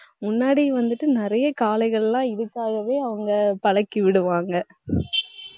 முன்னாடி வந்துட்டு நிறைய காளைகள்லாம் இதுக்காகவே அவங்க பழக்கிவிடுவாங்க